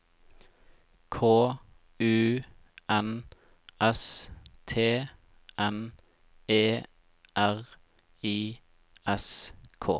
K U N S T N E R I S K